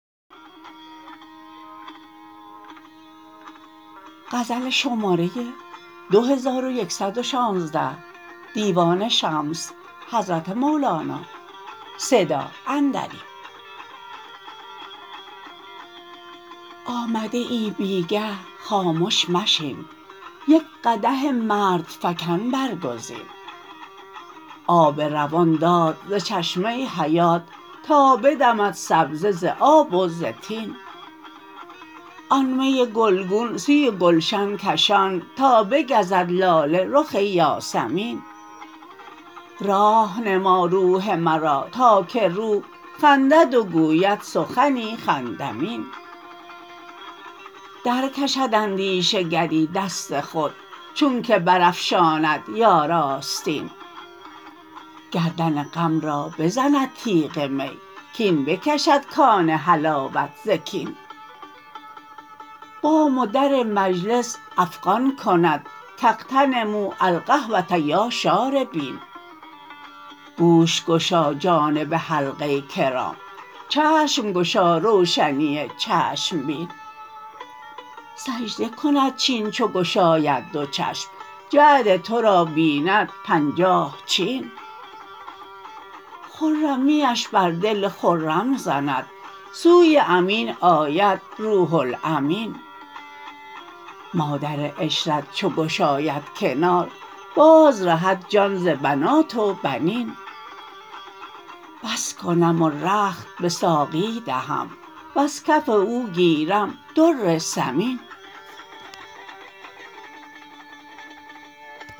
آمده ای بی گه خامش مشین یک قدح مردفکن برگزین آب روان داد ز چشمه حیات تا بدمد سبزه ز آب و ز طین آن می گلگون سوی گلشن کشان تا بگزد لاله رخ یاسمین راح نما روح مرا تا که روح خندد و گوید سخنی خندمین درکشد اندیشه گری دست خود چونک برافشاند یار آستین گردن غم را بزند تیغ می کاین بکشد کان حلاوت ز کین بام و در مجلس افغان کند کاغتنموا الهوه یا شاربین گوش گشا جانب حلقه کرام چشم گشا روشنی چشم بین سجده کند چین چو گشاید دو چشم جعد تو را بیند پنجاه چین خرمیش بر دل خرم زند سوی امین آید روح الامین مادر عشرت چو گشاید کنار بازرهد جان ز بنات و بنین بس کنم و رخت به ساقی دهم وز کف او گیرم در ثمین